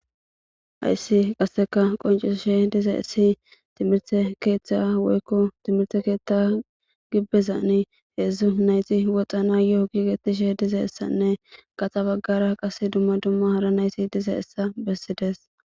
hayssi qasseka qoncisishe diza issi timirte keeththa woykko timirte keetta gibbezani heedzdzu nayti woxa nayoo giigetishe diza issanne gaxa baggara qas dumma dumma hara nayti dizayissa bessides